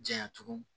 Janya tugun